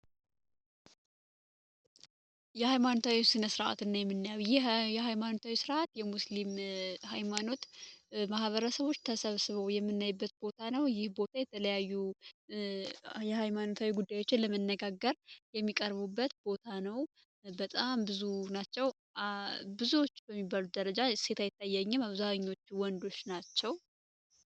የሃይማኖታዊ ስነ ስርዓት የሃይማኖት ስርዓት የሙስሊም ሃይማኖት ማበረሰቦች ተሰብስበው የምናይበት ቦታ ነው ይህ የተለያዩ የሃይማኖታዊ ጉዳዮችን ለመነጋገር የሚቀርቡበት ቦታ ነው በጣም ብዙ ናቸው ብዙዎቹ ደረጃ ይታየኝም አብዛኛዎቹ ወንዶች ናቸው።